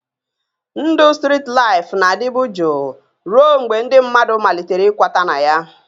Ndụ strit laịfụ na-adịbu jụụ ruo mgbe ndị mmadụ malitere ịkwata na ya